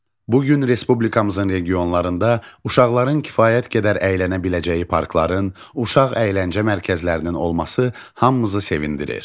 Bu gün respublikamızın regionlarında uşaqların kifayət qədər əylənə biləcəyi parkların, uşaq əyləncə mərkəzlərinin olması hamımızı sevindirir.